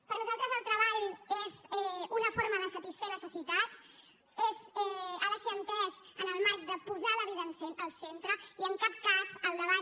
per nosaltres el treball és una forma de satisfer necessitats ha de ser entès en el marc de posar la vida al centre i en cap cas el debat